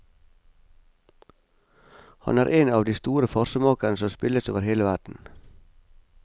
Han er en av de store farsemakerne som spilles over hele verden.